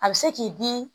A bɛ se k'i di